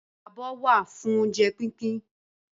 Abọ́ wà fún oúnjẹ pínpín